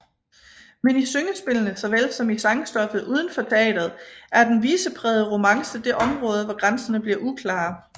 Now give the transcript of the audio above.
Men i syngespillene såvel som i sangstoffet uden for teatret er den viseprægede romance det område hvor grænserne bliver uklare